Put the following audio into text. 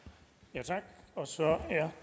men